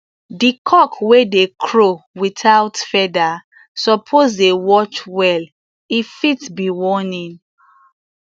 di cock wey dey crow without feather suppose dey watch well e fit be warning